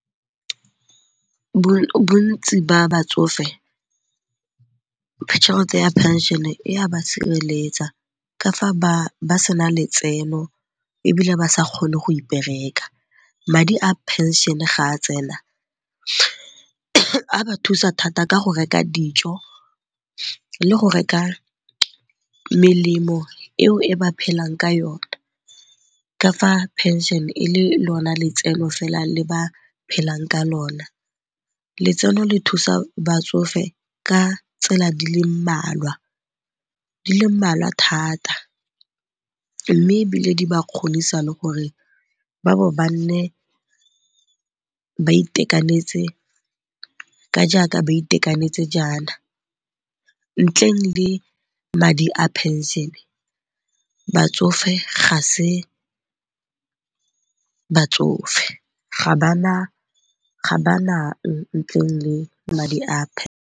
Bontsi ba batsofe tšhelete ya phenšene e a ba sireletsa ka fa ba sena letseno ebile ba sa kgone go ipereka. Madi a phenšene ga a tsena a ba thusa thata ka go reka dijo le go reka melemo eo e ba phelang ka yone ka fa phenšene e le lona letseno fela le ba phelang ka lona. Letseno le thusa batsofe ka tsela di le mmalwa thata mme ebile di ba kgonisa le gore ba bo ba nne ba itekanetse ka jaaka ba itekanetse jaana. Ntleng le madi a phenšene batsofe ga se batsofe, ga ba nang ntle le madi a .